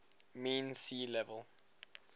mean sea level